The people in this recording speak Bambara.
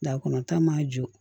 Da kɔnɔ ta ma jɔ